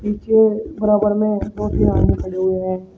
नीचे बराबर में दो तीन आदमी खड़े हुए हैं।